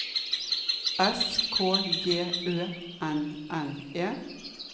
S K J Ø N N E